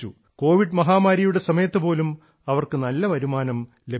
Covid മഹാമാരിയുടെ സമയത്ത് പോലും അവർക്ക് നല്ല വരുമാനം ലഭിച്ചു